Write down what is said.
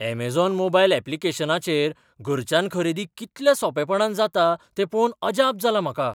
Amazon mobile ऍप्लिकेशनाचेर घरच्यान खरेदी कितल्या सोंपेपणान जाता तें पळोवन अजाप जालां म्हाका!